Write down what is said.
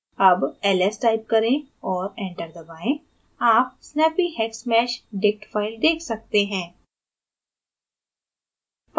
अब ls type करें और enter दबाएँ आप snappyhexmeshdict file देख सकते हैं